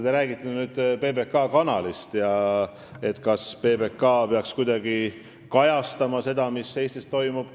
Te räägite PBK-st ja sellest, kas PBK peaks kuidagi kajastama seda, mis Eestis toimub.